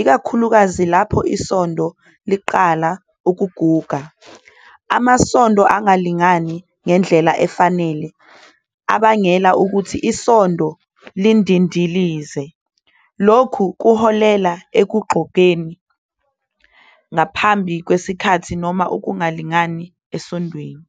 ikakhulukazi uma ivili seliqala ukuphela. Amavili angazimeleliswa kahle enza ivili livevezele. Lokhu kuholela ekupheleni okusheshayo noma okungalingani evilini.